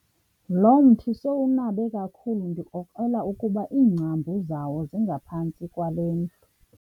Lo mthi sowunabe kakhulu ndikrokrela ukuba iingcambu zawo zingaphantsi kwalena.